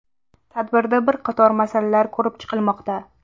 Tadbirda bir qator masalalar ko‘rib chiqilmoqda.